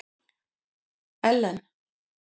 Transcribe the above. Ellen